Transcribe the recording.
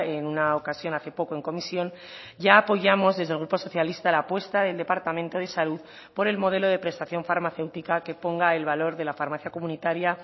en una ocasión hace poco en comisión ya apoyamos desde el grupo socialista la apuesta del departamento de salud por el modelo de prestación farmacéutica que ponga el valor de la farmacia comunitaria